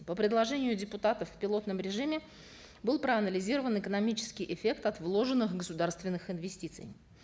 по предложению депутатов в пилотном режиме был проанализирован экономический эффект от вложенных государственных инвестиций